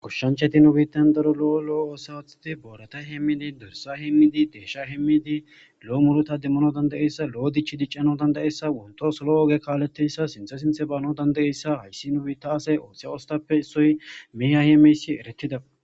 gushshancheti nubiitan daro lo7o loo oosatati booreta hemmidi dorsa hemmidi deesha hemmidi lo7o muluta demmono danda7eyssa lo7o dich diccano danda7eyssa wonto solo oge kaaletteyssa sinthe sinthe baano dandayeyssa hayssi nubita asey ooththea ostappe issoy miha he meysi erettida